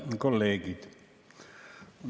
Head kolleegid!